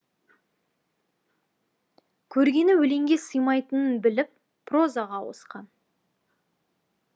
көргені өлеңге симайтынын біліп прозаға ауысқан